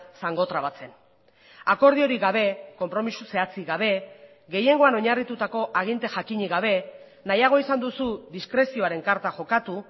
zangotrabatzen akordiorik gabe konpromiso zehatzik gabe gehiengoan oinarritutako aginte jakinik gabe nahiago izan duzu diskrezioaren karta jokatu